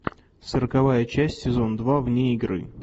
сороковая часть сезон два вне игры